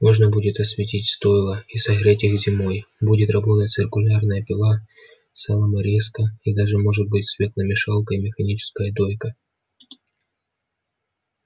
можно будет осветить стойла и согреть их зимой будет работать циркулярная пила соломорезка и даже может быть свекломешалка и механическая дойка